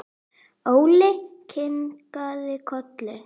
Óli kinkaði kolli.